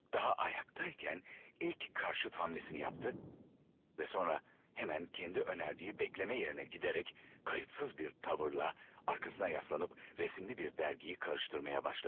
Hələ ayaqda ikən ilk əks gedişini etdi və sonra dərhal özünün təklif etdiyi gözləmə yerinə gedərək laqeyd bir tərzlə arxasına yaslanıb şəkilləri olan bir jurnalı qarışdırmağa başladı.